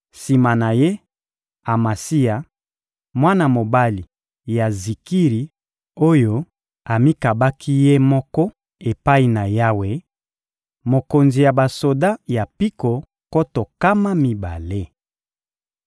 sima na ye, Amasia, mwana mobali ya Zikiri, oyo amikabaki ye moko epai na Yawe: mokonzi ya basoda ya mpiko nkoto nkama mibale.